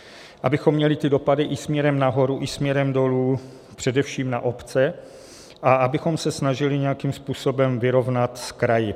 Abychom měli ty dopady i směrem nahoru i směrem dolů především na obce a abychom se snažili nějakým způsobem vyrovnat s kraji.